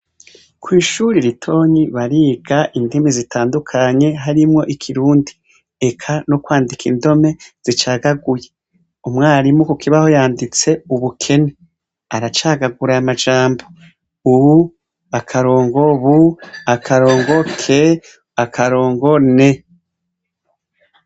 Kw'ishuri ritonyi bariga indimi zitandukanye harimwo ikirundi eka no kwandika indome zicagaguye, umwarimu ku kibaho yanditse ubukene, aracagagura aya majambo u akarongo, bu akarongo, ke akarongo, ne.